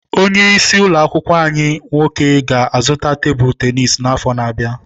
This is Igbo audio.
Onye isi ụlọ akwụkwọ nwoke ga-azụta tebụl tenisi n'afọ na-abịa.